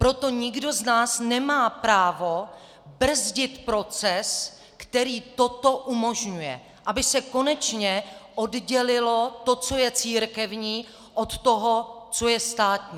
Proto nikdo z nás nemá právo brzdit proces, který toto umožňuje, aby se konečně oddělilo to, co je církevní, od toho, co je státní.